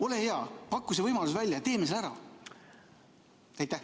Ole hea, paku see võimalus välja ja teeme selle ära.